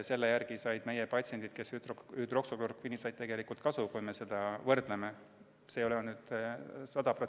Selle järgi said meie patsiendid, kellele anti hüdroksüklorokviini, tegelikult kasu, kui võrdleme.